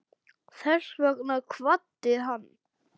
Þess vegna kvaddi hann.